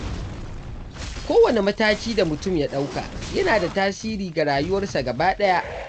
Kowane mataki da mutum ya ɗauka yana da tasiri ga rayuwarsa gaba ɗaya.